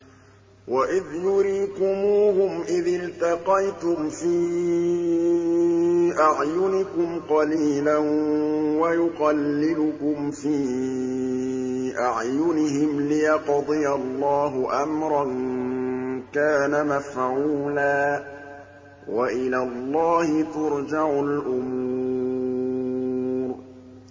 وَإِذْ يُرِيكُمُوهُمْ إِذِ الْتَقَيْتُمْ فِي أَعْيُنِكُمْ قَلِيلًا وَيُقَلِّلُكُمْ فِي أَعْيُنِهِمْ لِيَقْضِيَ اللَّهُ أَمْرًا كَانَ مَفْعُولًا ۗ وَإِلَى اللَّهِ تُرْجَعُ الْأُمُورُ